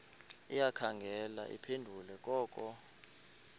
ayikhange iphendule koko